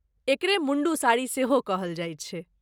एकरे मुण्डु साड़ी सेहो कहल जाइत छै।